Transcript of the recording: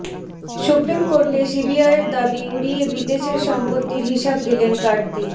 supreme কোর্টে সিবিআইয়ের দাবি উড়িয়ে বিদেশের সম্পত্তির হিসাব দিলেন কার্তি